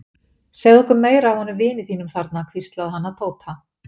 Segðu okkur meira af honum vini þínum þarna hvíslaði hann að Tóta.